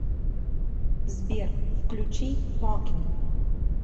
сбер включи бакин